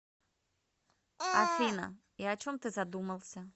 афина и о чем ты задумался